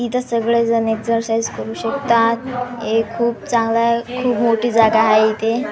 इथे सगळेजण एक्सरसाइज करू शकतात हे खूप चांगला आहे खूप मोठी जागा आहे इथे.